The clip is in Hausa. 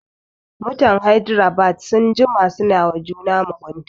Mutan Hydrabad sun jima suna wa juna mugunta